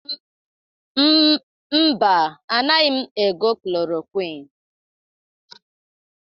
Mba, anaghị m ego klorokwịn.